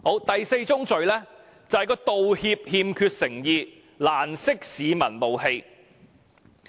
第四宗罪是道歉欠缺誠意，難釋市民怒氣。